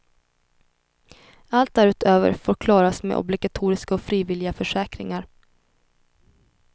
Allt därutöver får klaras med obligatoriska och frivilliga försäkringar.